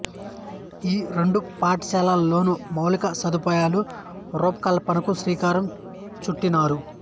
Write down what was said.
ఈ రెండు పాఠశాలల్లోనూ మౌలిక సదుపాయాల రూపకల్పనకు శ్రీకారం చుట్టినారు